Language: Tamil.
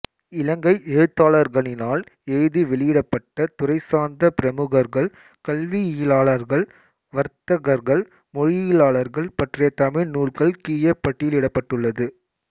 இலங்கை எழுத்தாளர்களினால் எழுதி வெளியிடப்பட்ட துறைசார்ந்த பிரமுகர்கள் கல்வியியலாளர்கள் வர்த்தகர்கள் மொழியியலாளர்கள் பற்றிய தமிழ் நூல்கள் கீழே பட்டியலிடப்பட்டுள்ளது